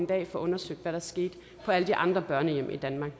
dag få undersøgt hvad der skete på alle de andre børnehjem i danmark